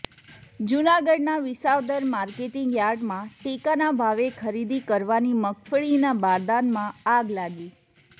જૂનાગઢના વિસાવદર માર્કેટિંગ યાર્ડમાં ટેકાના ભાવે ખરીદી કરવાની મગફળીના બારદાનમાં આગ લાગી